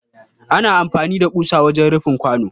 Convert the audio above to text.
ana amfani da ƙusa wajen rufin kwano.